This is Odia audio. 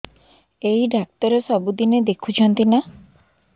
ଏଇ ଡ଼ାକ୍ତର ସବୁଦିନେ ଦେଖୁଛନ୍ତି ନା